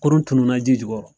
Kurun tunun na ji jukɔrɔ